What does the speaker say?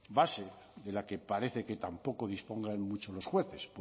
base de la que parece que tampoco dispongan mucho los jueces